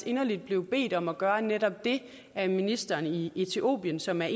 inderligt blev bedt om at gøre netop det af ministeren i etiopien som er